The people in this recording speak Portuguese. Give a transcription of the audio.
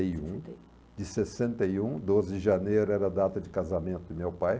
e um que de sessenta e um, doze de janeiro era a data de casamento do meu pai.